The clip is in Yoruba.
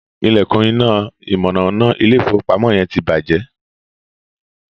ilekun iná mọ̀nàmọ́ná ilé ìfowópamọ́ yen tí bàjé